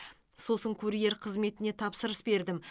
сосын курьер қызметіне тапсырыс бердім